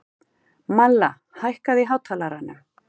Malla, hækkaðu í hátalaranum.